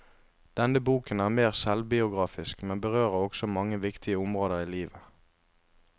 Denne boken er mer selvbiografisk, men berører også mange viktige områder i livet.